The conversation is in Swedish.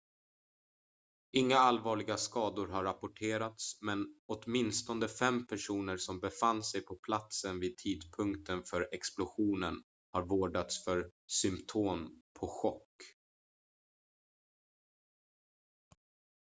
inga allvarliga skador har rapporterats men åtminstone fem personer som befann sig på platsen vid tidpunkten för explosionen har vårdats för symtom på chock